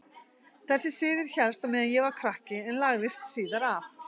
Þessi siður hélst á meðan ég var krakki en lagðist síðar af.